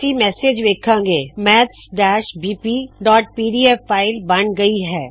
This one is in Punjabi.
ਅਸੀ ਮੈਸੇਜ ਵੇੱਖਾਂ ਗੇ ਮੈਥਜ਼ ਬੀਪੀਪੀਡੀਐਫ maths bpਪੀਡੀਐਫ ਫ਼ਾਇਲ ਬਣ ਗਈ ਹੈ